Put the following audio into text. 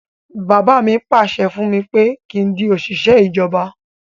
Bàbá mi pàṣẹ fún mi pé kí n di òṣìṣẹ́ ìjọba